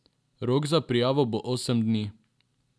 Rok za prijavo bo osem dni.